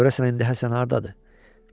Görəsən indi Həsən hardadır?